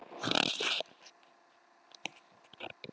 Sæmundur Karlsson horfir á hann hvumsa.